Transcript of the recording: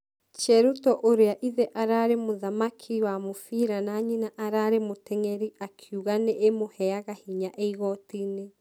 Cheruto ũrĩa ithe ararĩ mũthaki wa mũbira na nyina ararĩ mũtengeri akĩuga nĩ ĩmũheaga hinya ĩĩ igotinĩ.